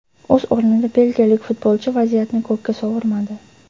O‘z o‘rnida belgiyalik futbolchi vaziyatni ko‘kka sovurmadi.